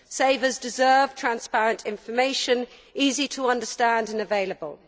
Savers deserve transparent information, which is easy to understand and available.